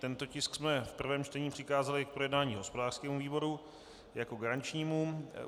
Tento tisk jsme v prvém čtení přikázali k projednání hospodářskému výboru jako garančnímu.